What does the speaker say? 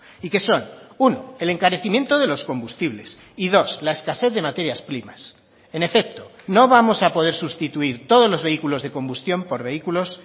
y que son uno el encarecimiento de los combustibles y dos la escasez de materias primas en efecto no vamos a poder sustituir todos los vehículos de combustión por vehículos